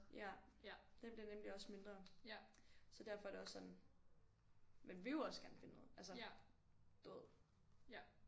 Ja den bliver nemlig også mindre så derfor er det også sådan man vil jo også gerne finde noget altså du ved